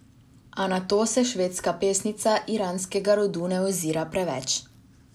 A na to se švedska pesnica iranskega rodu ne ozira preveč.